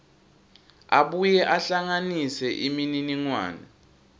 abuye ahlanganise imininingwane